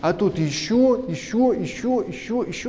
а тут ещё ещё ещё ещё ещё